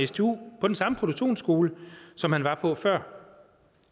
stu på den samme produktionsskole som han var på før